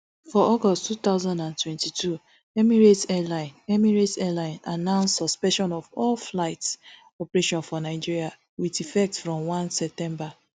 for august two thousand and twenty-two emirates airlines emirates airlines announce suspension of all flight operations for nigeria wit effect from one september